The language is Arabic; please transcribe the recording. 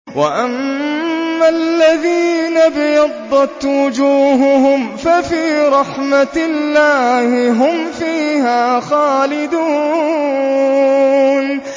وَأَمَّا الَّذِينَ ابْيَضَّتْ وُجُوهُهُمْ فَفِي رَحْمَةِ اللَّهِ هُمْ فِيهَا خَالِدُونَ